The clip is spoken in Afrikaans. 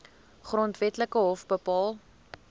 grondwetlike hof bepaal